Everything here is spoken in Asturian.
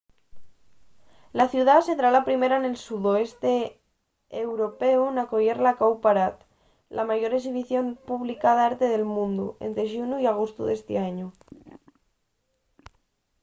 la ciudá sedrá la primera nel sudeste européu n'acoyer la cowparade la mayor exhibición pública d'arte del mundu ente xunu y agostu d'esti añu